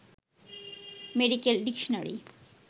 medical dictionary